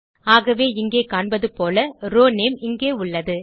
ஆகவே இங்கே காண்பதுபோல ரோவ் நேம் இங்கே உள்ளது